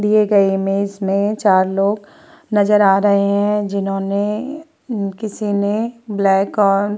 दिए गए इमेज में चार लोग नजर आ रहे हैं जिन्होंने किसी ने ब्लैक और --